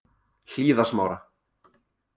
Hlíðasmára